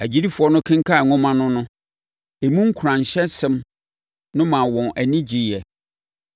Agyidifoɔ no kenkanee nwoma no no, emu nkuranhyɛsɛm no maa wɔn ani gyeeɛ.